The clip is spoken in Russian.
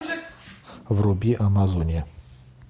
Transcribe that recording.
вруби амазония